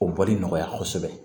O bɔli nɔgɔya kosɛbɛ